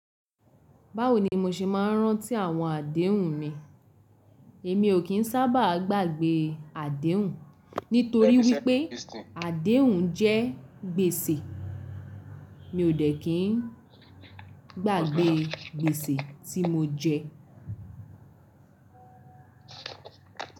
Báwo ni mo ṣe máa nrántí àwọn àdéhùn mi? Èmi ò kí ń sábà gbàgbé àdéhùn nítorí wípé àdéhùn jẹ́ gbèsè. Mi ò dẹ́ kí ń gbàgbé gbèsè tí mo jẹ.